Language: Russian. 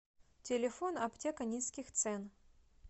телефон аптека низких цен